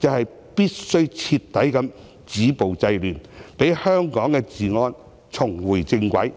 是必須徹底止暴制亂，讓香港的治安重回正軌。